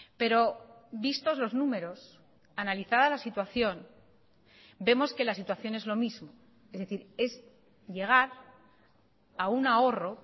pero vistos los números analizada la situación vemos que la situación es lo mismo es decir es llegar a un ahorro